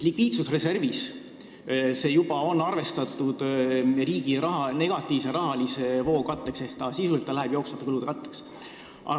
Likviidsusreservis see on juba arvestatud riigi negatiivse rahavoo katteks ehk sisuliselt läheb see jooksvate kulude katteks.